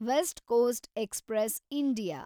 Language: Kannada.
West coast express India